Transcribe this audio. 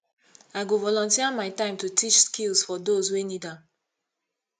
i go volunteer my time to teach skills for those wey need am